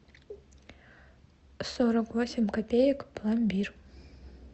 сорок восемь копеек пломбир